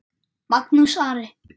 Magnús Ari.